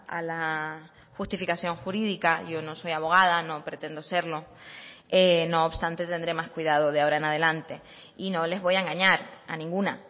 a la justificación jurídica yo no soy abogada no pretendo serlo no obstante tendré más cuidado de ahora en adelante y no les voy a engañar a ninguna